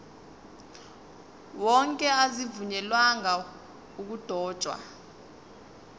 wonke azivunyelwanga ukudotshwa